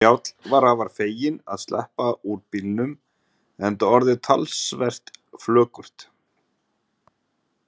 Njáll var afar feginn að sleppa úr bílnum enda orðið talsvert flökurt.